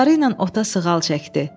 Qolları ilə ota sığal çəkdi.